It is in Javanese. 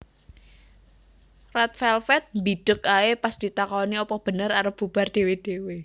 Red Velvet mbideg ae pas ditakoni opo bener arep bubar dhewe dhewe